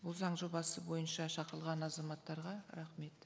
бұл заң жобасы бойынша шақырылған азаматтарға рахмет